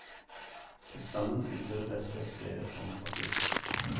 Til sammen utgjorde dette flere tonn papir.